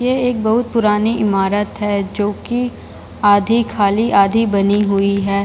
ये एक बहुत पुरानी इमारत है जो कि आधी खली आधी बानी हुई है।